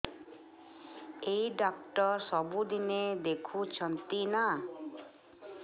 ଏଇ ଡ଼ାକ୍ତର ସବୁଦିନେ ଦେଖୁଛନ୍ତି ନା